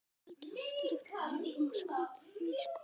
Hann taldi aftur upp að fjórum og skaut þriðja skotinu.